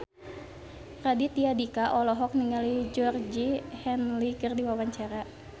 Raditya Dika olohok ningali Georgie Henley keur diwawancara